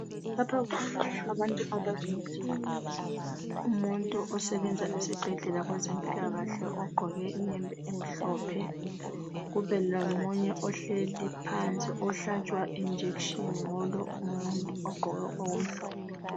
Lapha sibona abantu ababili umuntu osebenza esibhedlela kwezempilakahle ogqqoke iyembe emhlophe kube lomunye ohleli phansi ohlatshwa ijekiseni ngulo umuntu ogqqoke okumhlophe.